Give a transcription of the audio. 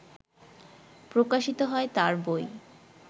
প্রকাশিত হয় তার বই